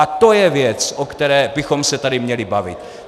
A to je věc, o které bychom se tady měli bavit.